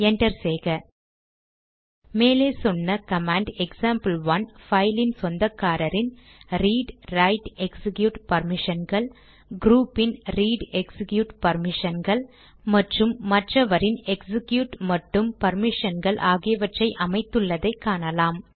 enter செய்க மேலே சொன்ன கமாண்ட் எக்சாம்பிள்1 பைலின் சொந்தக்காரரின் ரீட் ரைட் எக்சிக்யூட் பர்மிஷன்கள் க்ரூபின் ரீட் எக்சிக்யூட் பர்மிஷன்கள் மற்றும் மற்றவரின் எக்சிக்யூட் மட்டும் பர்மிஷன்கள் ஆகியவற்றை அமைத்துள்ளதை காணலாம்